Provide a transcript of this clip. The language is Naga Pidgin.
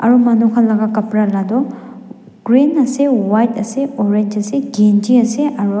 aru manu khan laka kapra latoh green ase white ase orange ase kenchi ase aro.